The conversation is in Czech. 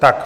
Tak.